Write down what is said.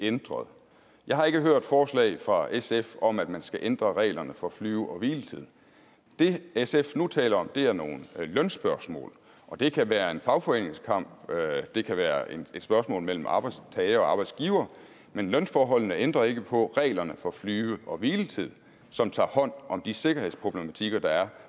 ændret jeg har ikke hørt forslag fra sf om at man skal ændre reglerne for flyve og hviletid det sf nu taler om er nogle lønspørgsmål det kan være en fagforeningskamp det kan være et spørgsmål mellem arbejdstager og arbejdsgiver men lønforholdene ændrer ikke på reglerne for flyve og hviletid som tager hånd om de sikkerhedsproblematikker der er